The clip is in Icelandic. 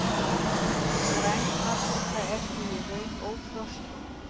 Græn paprika er því í raun óþroskuð.